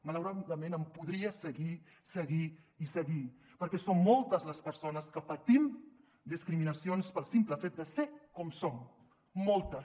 malauradament podria seguir seguir i seguir perquè són moltes les persones que patim discriminacions pel simple fet de ser com som moltes